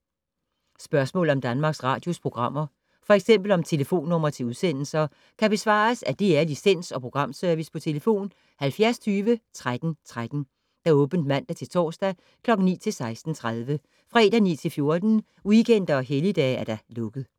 Spørgsmål om Danmarks Radios programmer, f.eks. om telefonnumre til udsendelser, kan besvares af DR Licens- og Programservice: tlf. 70 20 13 13, åbent mandag-torsdag 9.00-16.30, fredag 9.00-14.00, weekender og helligdage: lukket.